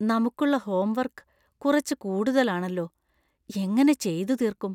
നമുക്കുള്ള ഹോംവർക്ക് കുറച്ച് കൂടുതലാണെല്ലോ. എങ്ങനെ ചെയ്തുതീര്‍ക്കും?